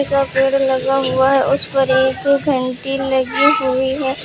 सब पेड़ लगा हुआ है उस पर एक घंटी लगी हुई है।